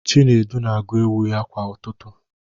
Chinedu na-agụ ewu ya kwa ụtụtụ